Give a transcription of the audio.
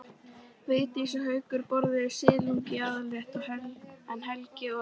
Vigdís og Haukur borðuðu silung í aðalrétt en Helgi og